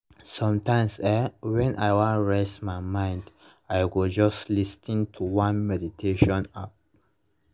sometimes[um]when i wan reset my mind i go just lis ten to one meditation app